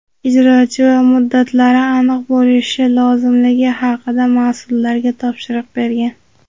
ijrochi va muddatlari aniq bo‘lishi lozimligi haqida mas’ullarga topshiriq bergan.